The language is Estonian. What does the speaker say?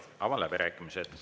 Avan läbirääkimised.